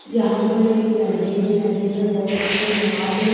यहां पर एक नदी है नदी में बहोत सी नाव है।